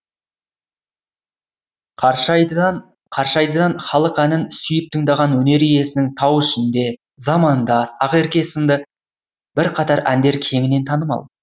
қаршайдыдан халық әнін сүйіп тыңдаған өнер иесінің тау ішінде замандас ақерке сынды бірқатар әндері кеңінен танымал